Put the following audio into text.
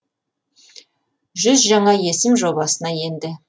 жүз жаңа есім жобасына енді